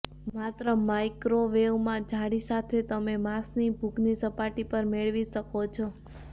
માત્ર માઇક્રોવેવમાં જાળી સાથે તમે માંસની ભૂખની સપાટી પર મેળવી શકો છો